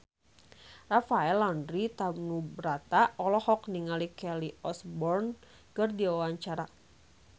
Rafael Landry Tanubrata olohok ningali Kelly Osbourne keur diwawancara